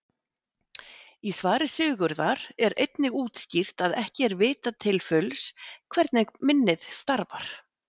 Í svari Sigurðar er einnig útskýrt að ekki er vitað til fulls hvernig minnið starfar.